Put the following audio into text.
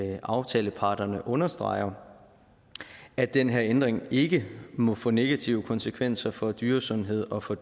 at aftaleparterne understreger at den her ændring ikke må få negative konsekvenser for dyresundhed og for